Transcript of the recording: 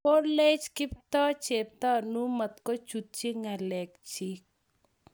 Kolech Kiptoo, Cheptanui matkochutchi ng'alek chik.